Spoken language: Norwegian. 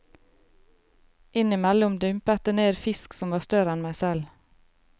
Innimellom dumpet det ned fisk som var større enn meg selv.